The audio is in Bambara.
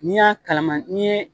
N'i y'a kalaman , ni ye